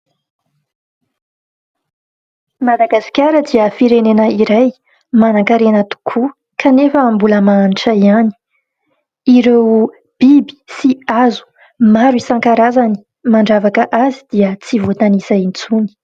Madagasikara dia firenena iray manankarena tokoa kanefa mbola mahantra ihany. Ireo biby sy hazo maro isan-karazany mandravaka azy dia tsy voatanisa intsony.